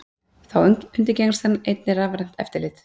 Þá undirgengst hann einnig rafrænt eftirlit